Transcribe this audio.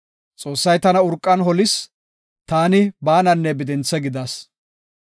Xoossay tana urqan holis; taani baananne bidinthe gidas.